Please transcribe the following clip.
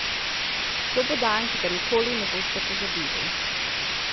To bo dan, ki ga nikoli ne boste pozabili!